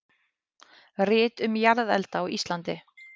Rit um jarðelda á Íslandi.